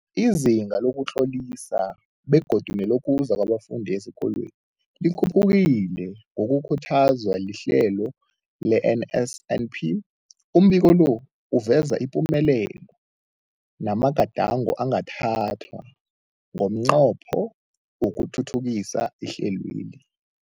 Izinga lokuzitlolisa begodu nelokuza kwabafundi esikolweni likhuphukile ngokukhuthazwa lihlelo le-NSNP. Umbiko lo uveza ipumelelo namagadango angathathwa ngomnqopho wokuthuthukisa ihlelweli.